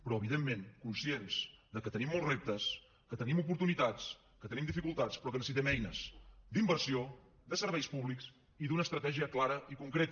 però evidentment conscients que tenim molts reptes que tenim oportunitats que tenim dificultats però que necessitem eines d’inversió de serveis públics i d’una estratègia clara i concreta